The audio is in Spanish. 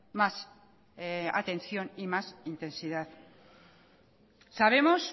más atención y más intensidad sabemos